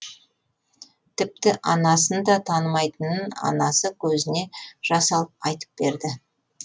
тіпті анасын да танымайтынын анасы көзіне жас алып айтып берді